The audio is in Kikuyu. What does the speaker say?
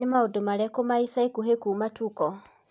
ni maundu marĩkũ ma ĩca ĩkũhĩ kũma tuko